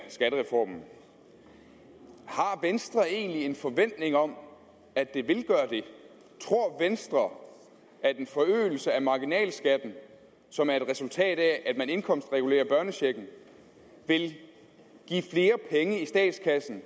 skattereformen har venstre egentlig en forventning om at det tror venstre at en forøgelse af marginalskatten som er et resultat af at man indkomstregulerer børnechecken vil give flere penge i statskassen